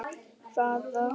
Hvaða djók er þetta?